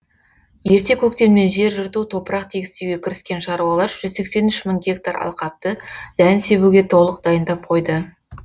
ерте көктемнен жер жырту топырақ тегістеуге кіріскен шаруалар жүз сексен үш мың гектар алқапты дән себуге толық дайындап қойды